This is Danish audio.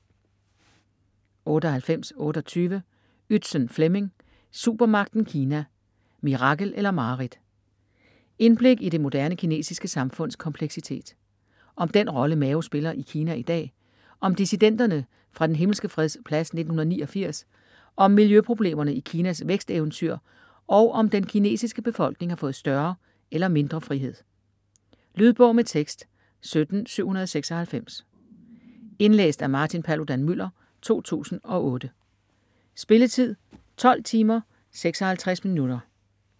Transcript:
98.28 Ytzen, Flemming: Supermagten Kina: mirakel eller mareridt Indblik i det moderne kinesiske samfunds kompleksitet. Om den rolle Mao spiller i Kina i dag, om dissidenterne fra den Himmelske Freds Plads 1989, om miljøproblemerne i Kinas væksteventyr og om den kinesiske befolkning har fået større eller mindre frihed. Lydbog med tekst 17796 Indlæst af Martin Paludan-Müller, 2008. Spilletid: 12 timer, 56 minutter.